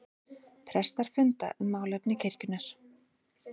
Prestar funda um málefni kirkjunnar